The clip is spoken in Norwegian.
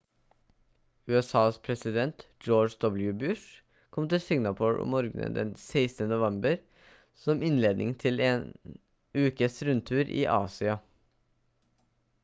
usas president george w bush kom til singapore om morgenen den 16. november som innledningen til en ukes rundtur i asia